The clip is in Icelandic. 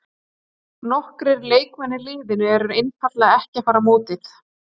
Nokkrir leikmenn í liðinu eru einfaldlega ekki að fara á mótið.